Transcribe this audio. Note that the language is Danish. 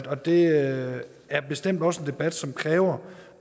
og det er bestemt også en debat som kræver